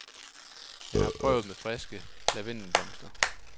Jeg har prøvet med friske lavendelblomster.